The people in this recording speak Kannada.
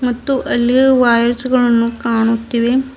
ಮತ್ತು ಅಲ್ಲಿ ವೈರ್ಸ್ ಗಳನ್ನು ಕಾಣುತ್ತಿವೆ.